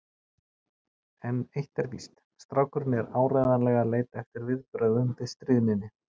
En eitt er víst: Strákurinn er áreiðanlega að leita eftir viðbrögðum við stríðninni.